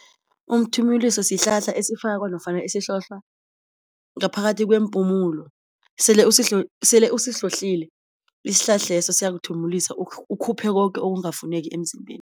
Umthimuliso sihlahla esifakwa nofana esihlohlwa ngaphakathi kweempumulo sele sele usihlohlile isihlahleso siyakuthimulisa ukhuphe koke okungafuneki emzimbeni.